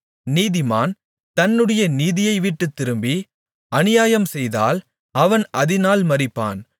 நீதிமான் தன்னுடைய நீதியைவிட்டுத்திரும்பி அநியாயம்செய்தால் அவன் அதினால் மரிப்பான்